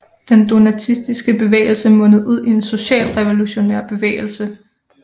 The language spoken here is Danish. Den donatistiske bevægelse mundede ud i en socialrevolutionær bevægelse